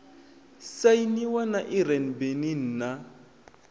sainiwa na iran benin na